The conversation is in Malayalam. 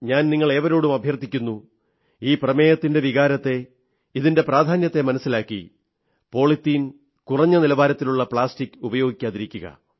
ഞാൻ നിങ്ങളേവരോടും അഭ്യർഥിക്കുന്നു ഈ തീമിന്റെ വികാരത്തെ ഇതിന്റെ പ്രാധാന്യത്തെ മനസ്സിലാക്കി പോളിത്തീൻ കുറഞ്ഞ നിലവാരത്തിലുള്ള പ്ലാസ്റ്റിക് ഉപയോഗിക്കാതിരിക്കുക